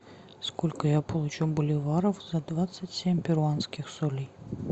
сколько я получу боливаров за двадцать семь перуанских солей